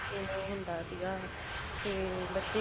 ਕਿਵੇਂ ਹੁੰਦਾ ਸੀਗਾ ਤੇ ਬੱਚੇ